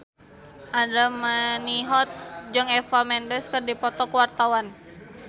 Andra Manihot jeung Eva Mendes keur dipoto ku wartawan